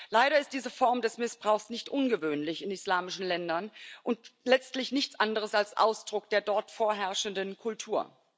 Leider ist diese Form des Missbrauchs nicht ungewöhnlich in islamischen Ländern und letztlich nichts anderes als Ausdruck der dort vorherrschenden Kultur.